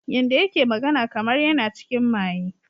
Yanda yake magana kamar yana cikin maye.